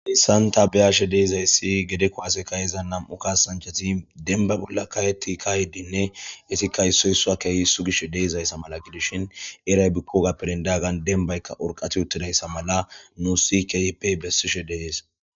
dissanta beyaashe deizayssi gede kowaaseka iza nam7u ka sanchati denba bolla ka eti ka yeddinne itikka issoy sua keeyi issu gish deeizayssa mala gidishin eray bikkogaperindaggan denbaykka orqati uttidayssa mala nu si keeyeppey bessishe dehees